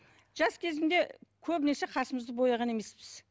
жас кезімде көбінесе қасымызды бояған емеспіз